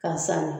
K'a sanni